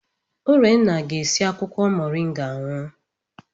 Urenna ga-esi akwụkwọ Moringa aṅụ.